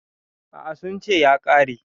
A'a, sun ce ya ƙare.